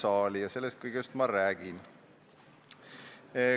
Aga sellest kõigest ma räägin.